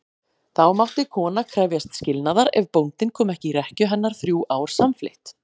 Þá mátti kona krefjast skilnaðar ef bóndinn kom ekki í rekkju hennar þrjú ár samfleytt.